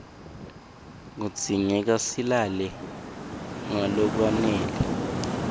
kudzingeka silale ngalokwanele